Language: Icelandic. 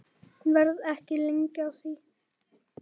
Verð ekki lengi að því.